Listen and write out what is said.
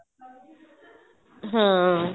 ਹਾਂ